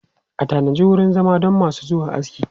Ana tanajin wurin zama don masu zuwa aski.